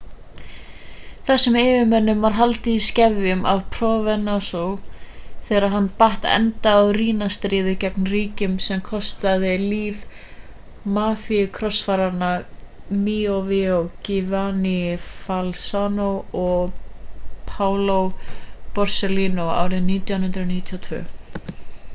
þessum yfirmönnum var haldið í skefjum af provenzano þegar hann batt enda á riina-stríðið gegn ríkinu sem kostaði líf mafíukrossfaranna miovia giovanni falcone og paolo borsellino árið 1992